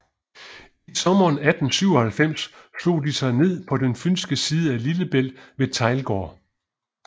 I sommeren 1897 slog de sig ned på den fynske side af Lillebælt ved Teglgård